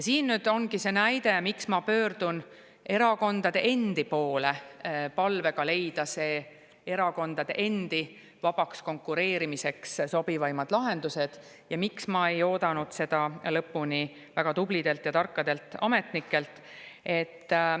Siin ongi see, miks ma pöördun erakondade endi poole palvega leida erakondade endi vabaks konkureerimiseks sobivaimad lahendused ja miks ma ei oodanud seda lõpp väga tublidelt ja tarkadelt ametnikelt.